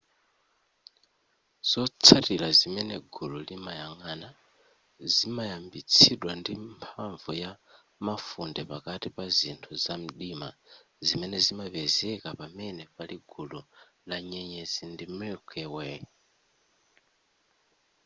zotsatira zimene gulu limayang'ana zimayambitsidwa ndi mphamvu ya mafunde pakati pa zinthu zamdima zimene zimapezeka pamene pali gulu la nyenyezi ndi milky way